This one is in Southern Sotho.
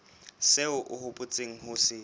seo o hopotseng ho se